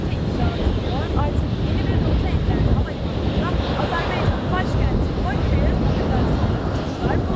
Azərbaycan Hava Yollarının yeni bir nota enter hamalı Azərbaycanın başkəndi Bakıya edəcək başlasınlar.